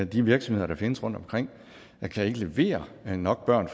de virksomheder der findes rundtomkring kan ikke levere nok børn